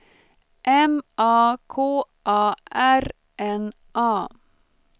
M A K A R N A